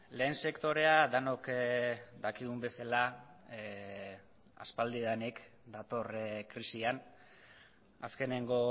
lehen sektorea denok dakigun bezala aspaldidanik dator krisian azkeneko